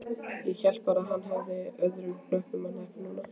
Hélt bara að hann hefði öðrum hnöppum að hneppa núna.